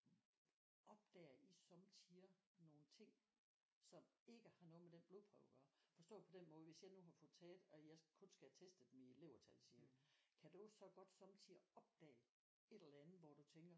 Opdager I sommetider nogle ting som ikke har noget med den blodprøve at gøre forstået på den måde hvis jeg nu har fået taget og jeg kun skal have testet mine levertal siger vi kan du så godt sommetider opdage et eller andet hvor du tænker